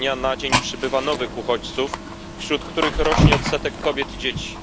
Z dnia na dzień przybywa nowych uchodźców, wśród których rośnie odsetek kobiet i dzieci.